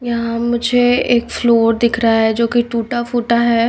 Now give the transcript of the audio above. यहां मुझे एक फ्लोर दिख रहा है जो की टूटा फूटा है।